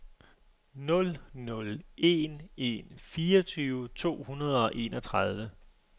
nul nul en en fireogtyve to hundrede og enogtredive